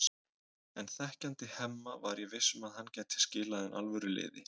En þekkjandi Hemma var ég viss um að hann gæti skilað inn alvöru liði.